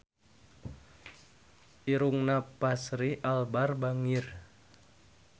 Irungna Fachri Albar bangir